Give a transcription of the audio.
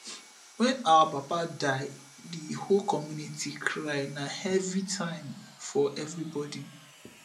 wen our papa die di whole community cry na heavy time for everybodi